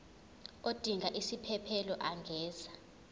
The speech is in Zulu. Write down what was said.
odinga isiphesphelo angenza